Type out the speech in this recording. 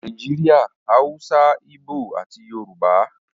Nàìjíríà - Hausa, Ibo ati Yorùbá